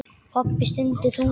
Pabbi stundi þungan.